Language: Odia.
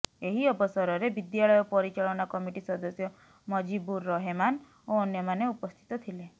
ଏହି ଅବସରରେ ବିଦ୍ୟାଳୟ ପରିଚାଳନା କମିଟି ସଦସ୍ୟ ମଜିବୁର ରହେମାନ ଓ ଅନ୍ୟମାନେ ଉପସ୍ଥିତ ଥିଲେ